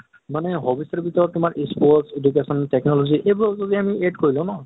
মানে hobbies ৰ ভিতৰত তোমাৰ sports, education, technology আএবোৰক যদি আমি add কৰি লওঁ ন,